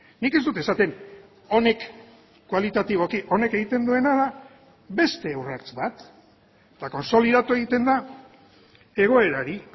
nik ez dut esaten honek kualitatiboki honek egiten duena da beste urrats bat eta kontsolidatu egiten da egoerari